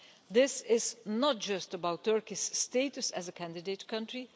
This is not just about Turkey's status as a candidate country.